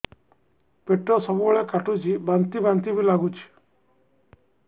ପେଟ ସବୁବେଳେ କାଟୁଚି ବାନ୍ତି ବାନ୍ତି ବି ଲାଗୁଛି